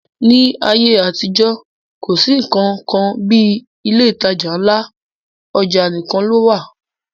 Ní ayé àtijọ́, kò sí nnkan kan bí ilé ìtajà ńlá, ọjà nìkan ló wà